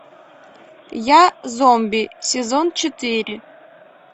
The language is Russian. я зомби сезон четыре